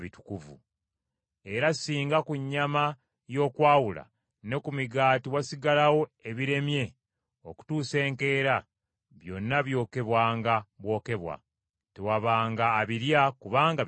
Era singa ku nnyama y’okwawula ne ku migaati wasigalawo ebiremye okutuusa enkeera, byonna byokebwanga bwokebwa; tewabanga abirya, kubanga bitukuvu.